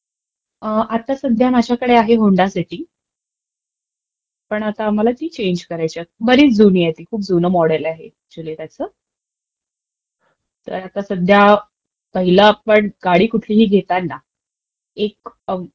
अं... आता सध्या माझ्याकडे आहे होन्डा सिटी. पण आता ती मला चेन्ज करायचीय. बरीचं जुनी आहे, बरचं जुनं मॉडेल आहे ऍक्च्युली त्याचं, तर आता सध्या पहिलं आपणं, गाडी कुठलिही घेताना एक